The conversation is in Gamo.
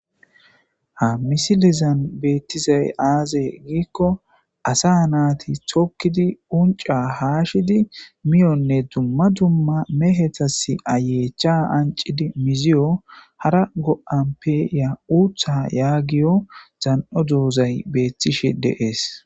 ha misilizan beettizay aaze giikko asa naati tokkidi unca haashidi miyonne dumma dumma mehetas ayeecha ancidi miziyo hara go7anpeya uutha yaagiyo zan7o doozay beettishe deees